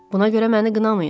Buna görə məni qınamayın,